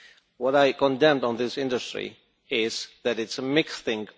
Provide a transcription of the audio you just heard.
What I condemned on this industry is that it is a mixed thing